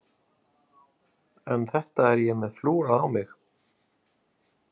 En þetta er ég með flúrað á mig.